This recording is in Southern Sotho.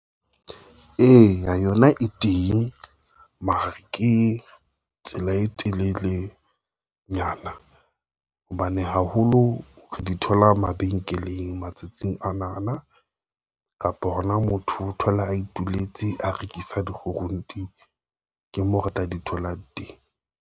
Eya, yona e teng mara ke tsela e telelenyana hobane haholo re di thole thola mabenkeleng matsatsing ana na kapa hona motho o thola a ituletse, a rekisa dikgurunte di ke moo re tla di thola teng.